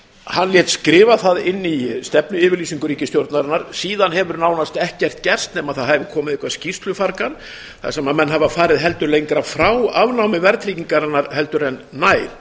hann lét skrifa það inn í stefnuyfirlýsingu ríkisstjórnarinnar síðan hefur nánast ekkert gerst nema það hefur komið eitthvert skýrslufargan þar sem menn hafa farið eitthvað lengra frá afnámi verðtryggingarinnar heldur en nær